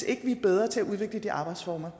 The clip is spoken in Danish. ikke er bedre til at udvikle de arbejdsformer